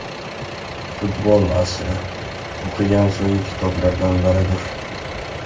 Futbol asri” o‘qigan so‘nggi kitoblardan biridir.